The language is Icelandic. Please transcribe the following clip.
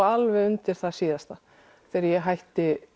alveg undir það síðasta þegar ég hætti